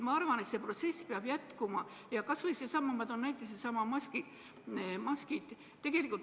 Ma arvan, et see protsess peab jätkuma, kas või nendesamade maskide puhul.